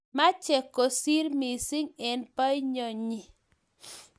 Meche kosiir missing eng boinyonyi